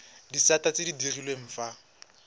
disata tse di direlwang fa